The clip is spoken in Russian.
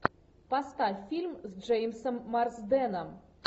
поставь фильм с джеймсом марсденом